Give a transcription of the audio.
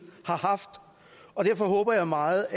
har haft derfor håber jeg meget